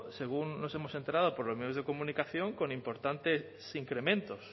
según nos hemos enterado por los medios de comunicación con importantes incrementos